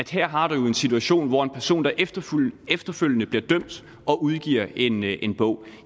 her har en situation hvor en person efterfølgende efterfølgende bliver dømt og udgiver en en bog